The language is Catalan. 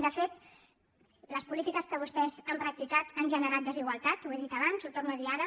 de fet les polítiques que vostès han practicat han generat desigualtat ho he dit abans ho torno a dir ara